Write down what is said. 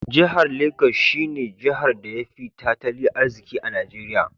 Jihar Lagos she ne Jihar da ya fi tatali arziki a Najeria.